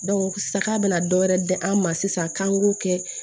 sa ka na dɔ wɛrɛ di an ma sisan k'an k'o kɛ